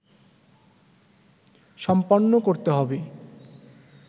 সম্পন্ন করতে হবে